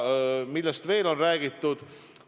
Millest veel on räägitud?